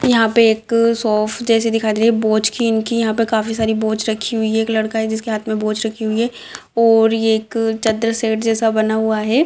यहाँ पे एक सोफ जैसे दिखाई दे रही है बोच की इनकी यहाँ पे काफी सारी बोच रखी हुई है | एक लड़का है जिसके हाथ में बोच रखी हुई है और ये एक चदर सेट जैसा बना हुआ है।